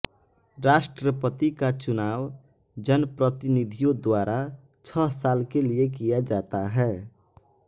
राष्ट्रपति का चुनाव जनप्रतिनिधियों द्वारा छह साल के लिए किया जाता है